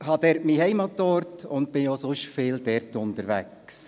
Ich habe dort meinen Heimatort und bin auch sonst viel dort unterwegs.